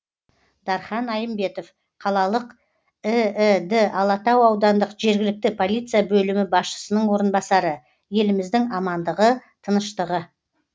дархан айымбетов қалалық іід алатау аудандық жергілікті полиция бөлімі басшысының орынбасары еліміздің амандығы тыныштығы